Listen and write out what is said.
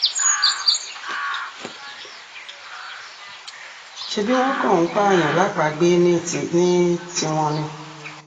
ṣebí wọ́n kàn ń pààyàn lápàgbé ní tiwọn ni